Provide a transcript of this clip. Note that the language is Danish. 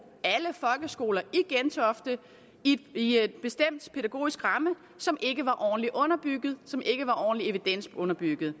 alle folkeskoler i gentofte i en bestemt pædagogisk ramme som ikke var ordentligt underbygget som ikke var ordentligt evidensunderbygget